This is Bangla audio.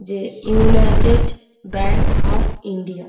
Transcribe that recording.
যে ইউনাইটেড ব্যাঙ্ক অফ ইন্ডিয়া |